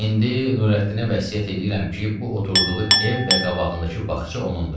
İndi Nurəddinə vəsiyyət eləyirəm ki, bu oturduğu ev və qabağındakı bağça onunundur.